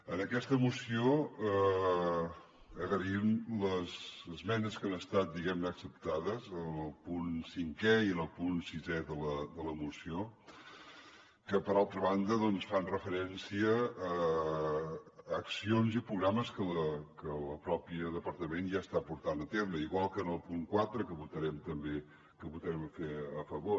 en aquesta moció agraïm les esmenes que han estat acceptades en el punt cinquè i en el punt sisè de la moció que per altra banda fan referència a accions i programes que el mateix departament ja està portant a terme igual que en el punt quatre que hi votarem també a favor